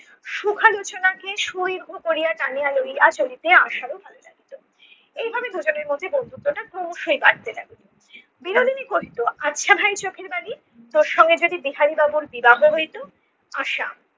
সুখালোচনাকে সুদীর্ঘ করিয়া টানিয়া লইয়া চলিতে আশারও ভালো লাগিত এইভাবে দুজনের মধ্যে বন্ধুত্বটা ক্রমশই বাড়তে থাকে। বিনোদিনী কহিত আচ্ছা ভাই চোখের বালি তোর সঙ্গে যদি বিহারি বাবুর বিবাহ হইত? আশা-